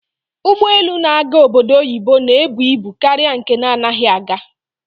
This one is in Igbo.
Ụgbọelu na-aga obodo oyibo na-ebu ibu karịa nke na-anaghị aga.